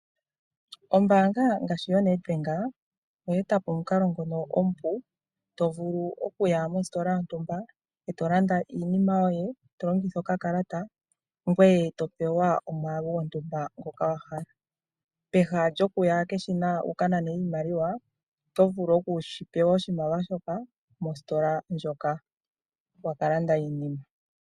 Ombaanga ngaashi yoNedbank, oya eta po omukalo ngono omupu, to vulu okuya mositola yontumba, e to landa iinima yoye, to longitha okakalata, ngoye to pewa omwaalu gontumba ngoka wa hala. Pehala lyokuya keshina wu ka nane iimaliwa, oto vulu oku shi pewa oshimaliwa shoka, mositola ndjoka wa ka landa iinima.